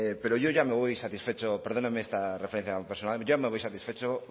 pero yo ya me voy satisfecho perdónenme a esta referencia personal yo ya me voy satisfecho